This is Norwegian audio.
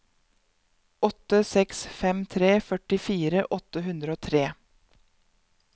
åtte seks fem tre førtifire åtte hundre og tre